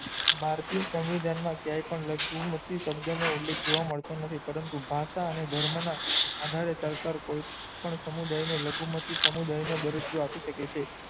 ભારતીય સંવિધાન મા ક્યાય પણ લખ્યું નથી નું ઉલ્લેખ જોવા મળતું નથી પરંતુ ભાષા અને ધર્મ ના આધારે સરકાર કોઈ પણ સમુદાય ને લઘુમતી સમુદાય નુ દ્ર્જીયો આપી સકાય છે